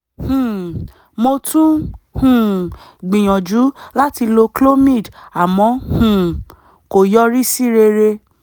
um mo tún um gbìyànjú láti lo clomid àmọ́ um kò yọrí sí rere